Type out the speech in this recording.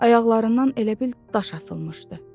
Ayaqlarından elə bil daş asılmışdı.